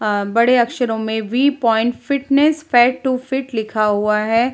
अ बड़े अक्षरों में V point fitness fat to fit लिखा हुआ है।